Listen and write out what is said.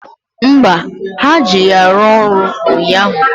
Mba, ha ji ya rụọ ọrụ ụnyaahụ